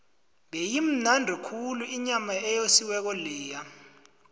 beyimnandi khulu inyama eyosiweko leya